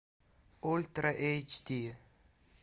ультра эйч ди